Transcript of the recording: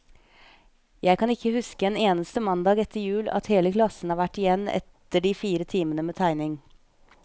Jeg kan ikke huske en eneste mandag etter jul, at hele klassen har vært igjen etter de fire timene med tegning.